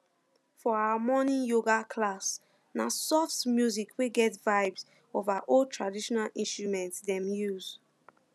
for our morning yoga class na soft music wey get vibes of our old traditional instrument dem use